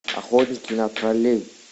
охотники на троллей